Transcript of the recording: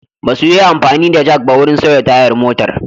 Ba su yi amfani da jak ba wurin sauya tayar motar.